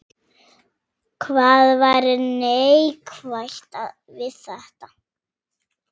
Hvað væri neikvætt við þetta?